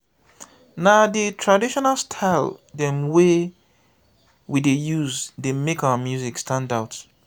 na di traditional style dem wey we dey use dey make our music stand out.